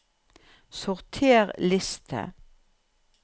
Sorter liste